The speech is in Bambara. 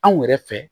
Anw yɛrɛ fɛ